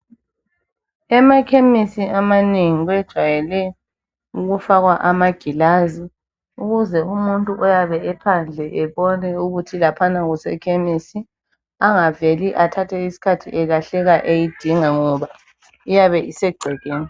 Emakhemisi amanengi bajayele ukufaka amaglazi ukuze umuntu oyabe ephandle abone ukuthi laphana kusekhemisi angaveli ethathe isikhathi eyidinga ebone ukuthi laphana kusekhemisi ngoba iyabe isegcekeni.